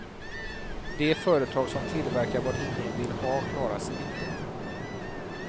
De företag som tillverkar vad ingen vill ha klarar sig inte.